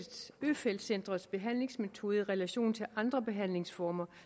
øfeldt centrets behandlingsmetode i relation til andre behandlingsformer